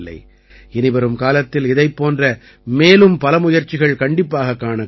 இனிவரும் காலத்தில் இதைப் போன்ற மேலும் பல முயற்சிகள் கண்டிப்பாகக் காணக் கிடைக்கும்